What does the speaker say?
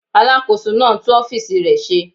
Alàkóso náà ń tún ọ́fìsì rẹ̀ ṣe